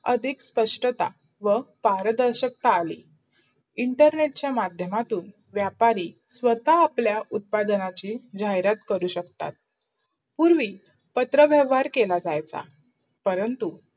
अधिक सपास्ता व पार्दर्शकता आली. internet चा माध्य्मात्तून् व्यापारी सावता आपल्या उत्पाधनाची झाहिरात करू शकतो. पूर्वी पत्राव्यावर केला जायचा. परंतु